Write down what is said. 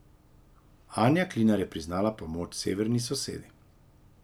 Anja Klinar je priznala premoč severni sosedi.